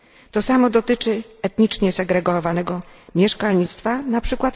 To samo dotyczy etnicznie segregowanego mieszkalnictwa, np.